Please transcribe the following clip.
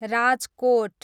Rajkot